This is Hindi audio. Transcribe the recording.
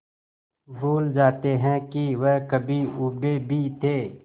भूल जाते हैं कि वह कभी ऊबे भी थे